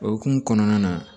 O hukumu kɔnɔna na